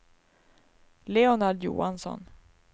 Leonard Johansson